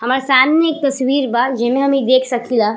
हमार सामने एक तस्वीर बा जेमे हम इ देख सकीला।